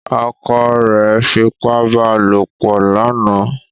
Ọkọ rẹ fipá bá lopọ̀ lánàá.